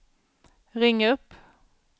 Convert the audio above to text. ring upp